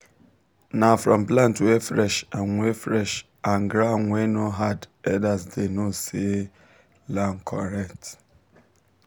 na from plant wey fresh and wey fresh and ground wey no hard elders dey know say land correct.